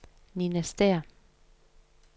Ninna Stæhr